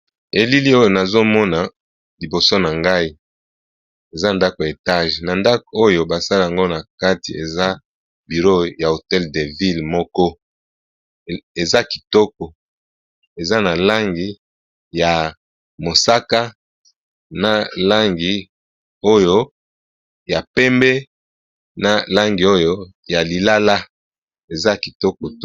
Elili oyo nazo mona liboso na ngai eza ndako ya etage na ndako oyo ba sala yango na kati eza biro ya hotel de ville moko eza kitoko eza na langi ya mosaka na langi oyo ya pembe na langi oyo ya lilala eza kitoko.